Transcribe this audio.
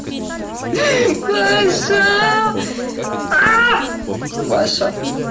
паша а паша